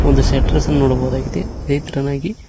ಒಂದು ಸೆಟ್ರೇಸ್ ಅನ್ನು ನೋಡಬಹುದಾಗಿದೆ ಅದೇ ತರನಾಗಿ--